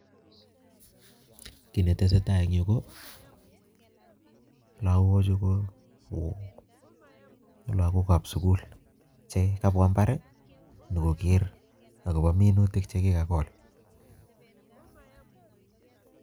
Kiiy ne tesetai en yu, ko lagok chu ko lagokab sugul, che kabwaa mbar nyigoger agobo minutik che kikagol